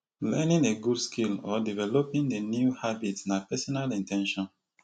learning a good skill or developing a new habit na pesinal in ten tion